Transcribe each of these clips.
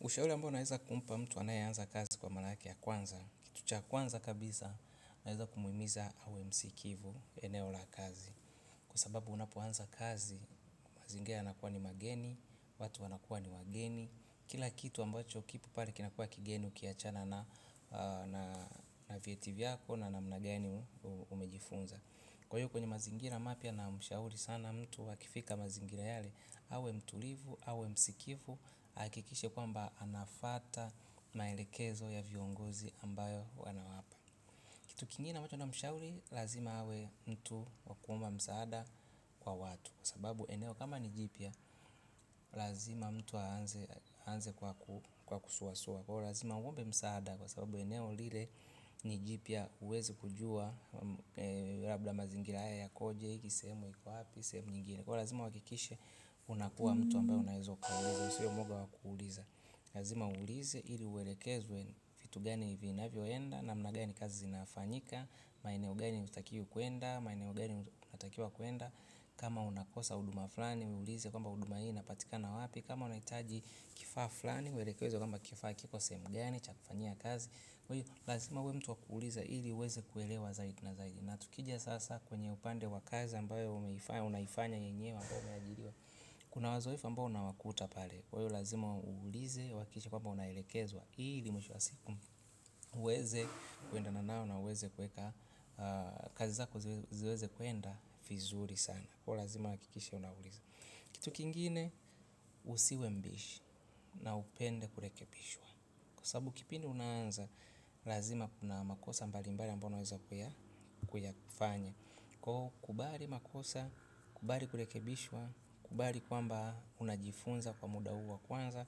Ushauri ambao naweza kumpa mtu anayeanza kazi kwa mara yake ya kwanza. Kitu cha kwanza kabisa naweza kumuhimiza awe msikivu eneo la kazi. Kwa sababu unapo anza kazi, mazingira yanakuwa ni mageni, watu anakuwa ni wageni. Kila kitu ambacho kipo pale kinakua kigeni ukiachana na vieti vyako na namna gani umejifunza. Kwahiyo kwenye mazingira mapya namshauri sana mtu akifika mazingira yale. Awe mtulivu, awe msikivu, hakikishe kwamba anafuata maelekezo ya viongozi ambayo wanawapa. Kitu kingine ambacho namshauri, lazima awe mtu wakuomba msaada kwa watu kwa sababu eneo kama ni jipya, lazima mtu aanze kwa kusuasua kwahiyo lazima uombe msaada, kwa sababu eneo lile ni jipya huwezi kujua. Labda mazingira haya yakoje, hii sehemu iko wapi? Sehemu nyingine kwahiyo lazima uhakikishe unakuwa mtu ambaye unaweza ukauliza usiwe mwoga wa kuuliza, lazima uulize ili uelekezwe vitu gani hivi vinaenda namna gani kazi zinafanyika, maeneo gani hutakiwi kwenda, maeneo gani unatakiwa kwenda. Kama unakosa huduma fulani uulize kwamba huduma hii napatikana wapi, kama unahitaji kifaa fulani uelekezwe kwamba kifaa kiko sehemu gani chakufanya kazi kwa hiyo lazima uwe mtu wa kuuliza ili uweze kuelewa zaidi na zaidi. Na tukijia sasa kwenye upande wa kazi ambayo unaifanya yenyewe. Kuna wazoefu ambao unawakuta pale kwa hiyo lazima uulize, uhakikishe kwamba unaelekezwa ili mwisho wa siku uweze kuendana nao na uweze kuweka kazi zako ziweze kwenda vizuri sana kwa hiyo lazima uhakikishe unauliza. Kitu kingine usiwe mbishi na upende kurekebishwa kwa sababu kipindi unaanza lazima kuna makosa mbalimbali ambayo unaweza kuyafanya kwa hiyo kubali makosa, kubali kurekebishwa, kubali kwamba unajifunza kwa muda huu wa kwanza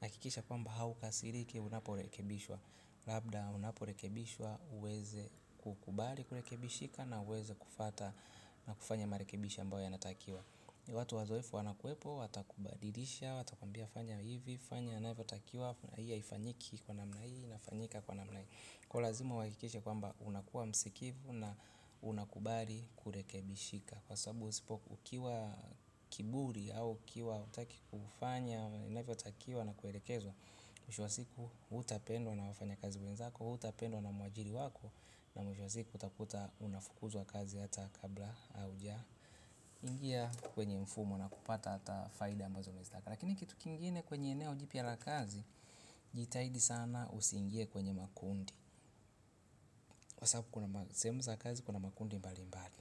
hakikisha kwamba haukasiriki unaporekebishwa. Labda unaporekebishwa uweze kukubali kurekebishika na uweze kufuata na kufanya marekebisho ambayo yanatakiwa. Watu wazoefu wanakwepo, watakubadilisha, watakumbia fanya hivi, fanya inavyotakiwa, hii haifanyiki kwa namna hii, inafanyika kwa namna hii. Kwa hiyo lazima uhakikishe kwamba unakuwa msikivu na unakubali kurekebishika kwa sababu usipo ukiwa kiburi au ukiwa hutaki kufanya inavyotakiwa na kuelekezwa, mwisho wa siku hutapendwa na wafanyakazi wenzako, hutapendwa na mwajiri wako, na mwisho wa siku utakuta unafukuzwa kazi hata kabla haujaingia kwenye mfumo na kupata hata faida ambazo unazozitaka. Lakini kitu kingine kwenye eneo jipya la kazi jitaidi sana usingie kwenye makundi. Kwa sababu kuna sehemu za kazi, kuna makundi mbalimbali.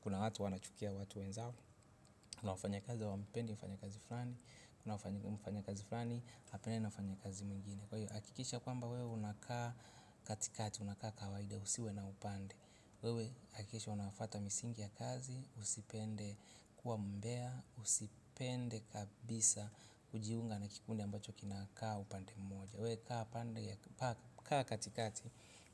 Kuna watu wanachukia watu wenzao kuna wafanyakazi hawampendi mfanyakazi fulani. Kuna mfanyakazi fulani, hapendani na mfanyakazi mwingine. Kwa hiyo, hakikisha kwamba wewe unakaa katikati, unakaa kawaida, usiwe na upande. Wewe, hakikisha unafuata misingi ya kazi, usipende kuwa mbea, usipende kabisa, kujiunga na kikundi ambacho kinakaa upande mmoja. We kaa katikati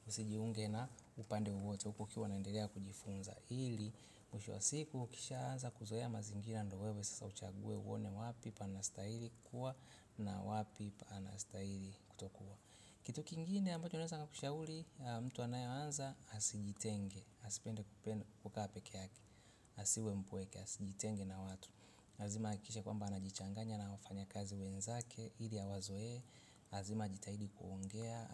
usijiunge na upande wowote huku ukiwa unaendelea kujifunza hili mwisho wa siku ukishaanza kuzoea mazingira ndiyo wewe sasa uchague uone wapi panastaili kuwa na wapi panastaili kutokuwa. Kitu kingine ambacho naweza kushauri mtu anayeanza asijitenge asipende kukaa peke yake asiwe mpweke, asijitenge na watu lazima ahakikisha kwamba anajichanganya na wafanyakazi wenzake ili awazoe, lazima ajitahidi kuongea,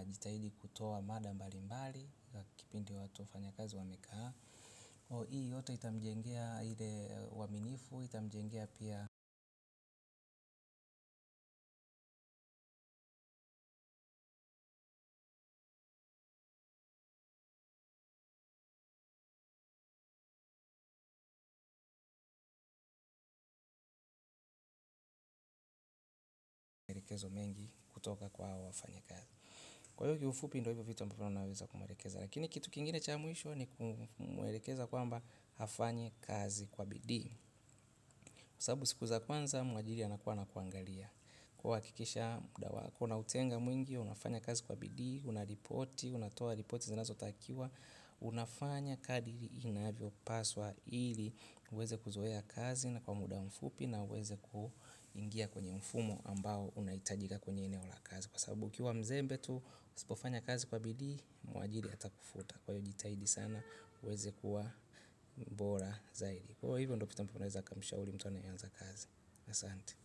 ajitahidi kutoa mada mbalimbali, kipindi wafanyakazi wamekaa. Hii yote itamjengea ile uaminifu itamjengea pia uelekezo mengi kutoka kwa wafanyakazi. Kwa hiyo kifupi ndiyo hivyo vitu ambavyo naweza kumwelekeza. Lakini kitu kingine cha mwisho ni kumwelekeza kwamba afanye kazi kwa bidii, kwa sababu siku za kwanza mwajiri anakuwa na kuangalia kwa hiyo hakikisha kuna utenga mwingi, unafanya kazi kwa bidii unaripoti, unatoa ripoti zinazotakiwa, unafanya kadiri inavyopaswa ili, uweze kuzoea kazi na kwa muda mfupi na uweze ku ingia kwenye mfumo ambao unahitajika kwenye eneo la kazi kwa sababu ukiwa mzembe tu, usipofanya kazi kwa bidii, mwajiri atakufuta kwa hiyo jitahidi sana, uweze kuwa bora zaidi kwa hivyo ndiyo vitu ambayo naweza kumishauri mtu anayeanza kazi. Asante.